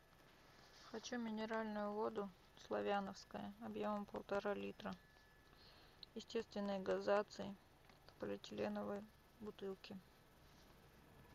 хочу минеральную воду славяновская объемом полтора литра естественной газации в полиэтиленовой бутылке